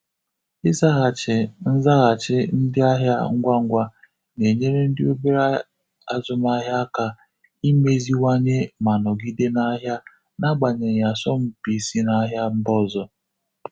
Ịzaghachị nzaghachi ndị ahịa ngwa ngwa na-enyere ndi obere azụmaahịa aka imeziwanye ma nọgide na ahịa n'agbanyeghị asọmpi si n'ahịa mba ọzọ.